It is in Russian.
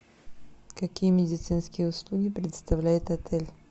какие медицинские услуги предоставляет отель